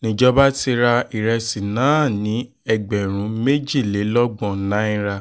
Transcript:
nìjọba ti ra ìrẹsì náà ní ẹgbẹ̀rún méjìlélọ́gbọ̀n náírà